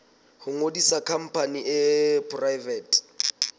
ho ngodisa khampani e poraefete